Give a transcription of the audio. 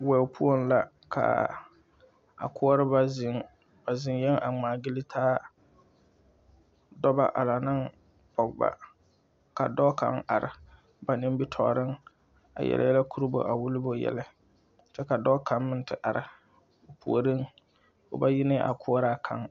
Wɛo poɔŋ la kaa a koɔrbɔ zeŋ ba zeŋyɛŋ a ngmaagyile taa dɔbɔ a la neŋ pɔgebɔ ka dɔɔ kaŋ are ba nimitooreŋ a yele yɛlɛ korɔba a wullo ba yɛlɛ kyɛ ka dɔɔ kaŋ meŋ ti are o puoriŋ o ba yi neŋ a koɔraa kaŋ.